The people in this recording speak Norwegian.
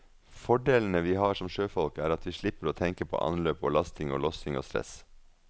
Fordelene vi har som sjøfolk er at vi slipper å tenke på anløp og lasting og lossing og stress.